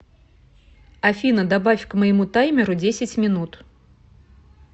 афина добавь к моему таймеру десять минут